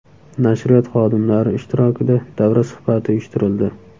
Nashriyot xodimlari ishtirokida davra suhbati uyushtirildi.